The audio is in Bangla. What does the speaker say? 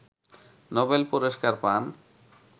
নোবেল পুরস্কার পান